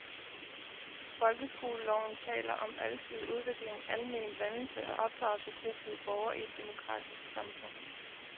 Folkeskoleloven taler om alsidig udvikling, almen dannelse og opdragelse til at blive borger i et demokratisk samfund.